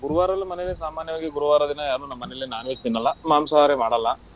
ಗುರುವಾರ ನಮ್ ಮನೇಲಿ ಸಾಮಾನ್ಯವಾಗಿ ಗುರುವಾರ ದಿನ ಯಾರೂ ನಮ್ ಮನೆಲ್ಲಿ non-veg ತಿನ್ನಲ್ಲ, ಮಾಂಸಾಹಾರಿ ಮಾಡಲ್ಲ.